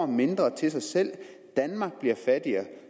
mindre til sig selv danmark bliver fattigere